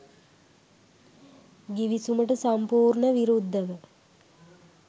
ගිවිසුමට සම්පූර්ණ විරුද්ධව